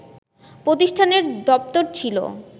প্রতিষ্ঠানের দপ্তর ছিল